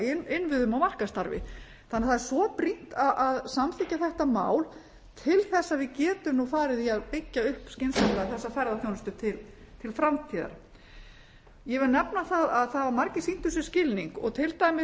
í innviðum og markaðsstarfi þannig að það er svo brýnt að samþykkja þetta mál til þess að við getum nú farið að byggja upp skynsamlega þessa ferðaþjónustu til framtíðar ég vil nefna það að það hafa margir sýnt þessu skilning til dæmis